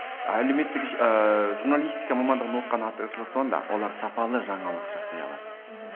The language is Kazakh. әлеуметтік ыыы журналистика мамандығын оқыған артықшылығы сонда олар сапалы жаңалық жасай алады мхм